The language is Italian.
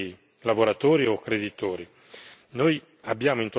Da ultimo rimane il tema dei lavoratori o creditori.